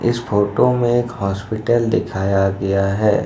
इस फोटो में एक हॉस्पिटल दिखाया गया है।